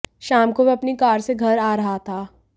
शाम को वह अपनी कार से घर आ रहा था